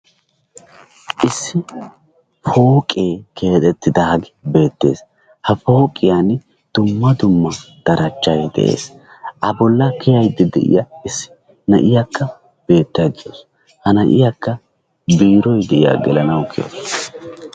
Issi pooqee keexettidaagee beettees. Ha pooqiyan dumma dumma darajjay de'ees. A bolla kiyaydda de'iya issi na'iyakka beettawusu. Na'iyakka biiroy de'iyagaa gelanawu bawusu.